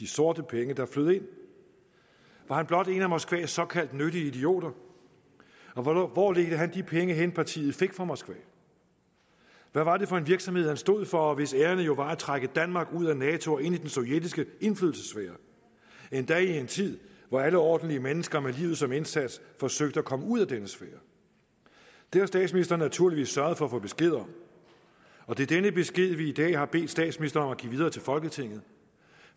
sorte penge der flød ind var han blot en af moskvas såkaldte nyttige idioter og hvor hvor ledte han de penge hen partiet fik fra moskva hvad var det for en virksomhed han stod for og hvis ærinde jo var at trække danmark ud af nato og ind i den sovjetiske indflydelsessfære endda i en tid hvor alle ordentlige mennesker med livet som indsats forsøgte at komme ud af denne sfære det har statsministeren naturligvis sørget for at få besked om og det er denne besked vi i dag har bedt statsministeren give videre til folketinget